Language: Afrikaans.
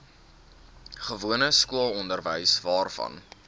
gewone skoolonderwys waarvan